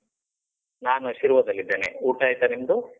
ನಾನು ಶಿರ್ವದಲ್ಲಿದ್ದೇನೆ. ಊಟ ಆಯ್ತಾ ನಿಮ್ದು?